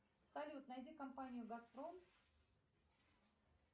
салют найди компанию газпром